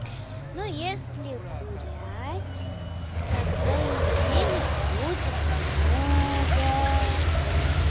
ну если гулять тогда и денег будет много